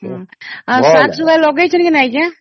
ହମ୍ମ ଆଉ ଶାଗ ସୁଗା ଲଗେଇଛନ୍ତି କି ନ ଆଂଜ୍ଞା